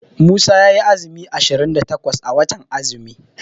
Musa yayi azumi ashirin da takwas a watan azumi.